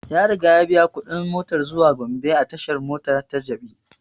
Ya riga ya biya kuɗin motan zuwa gombe a tashan mota ta jabi